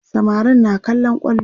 samarin na kallon kwallo